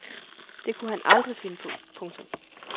Det kunne han aldrig finde på. punktum